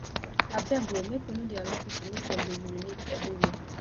abeg o make we no dey allow pipo make dem dey urinate everywhere